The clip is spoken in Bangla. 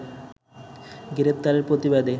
গ্রেপ্তারের প্রতিবাদে